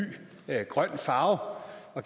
grøn farve og